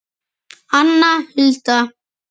Anna Hulda.